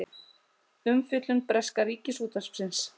Umfjöllun breska ríkisútvarpsins